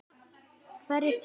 Hverjir tapa?